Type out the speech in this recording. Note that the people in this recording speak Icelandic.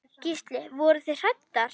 Gísli: Voruð þið hræddar?